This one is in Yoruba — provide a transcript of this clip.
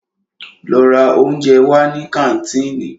Lọ ra óúnjẹ wá ní kàńtìnì!